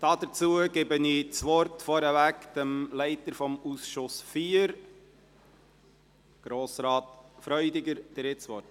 Hierzu gebe ich das Wort dem Leiter des Ausschusses IV. Grossrat Freudiger, Sie haben das Wort.